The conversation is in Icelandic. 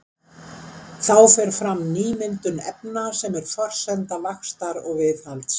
Þá fer fram nýmyndun efna sem er forsenda vaxtar og viðhalds.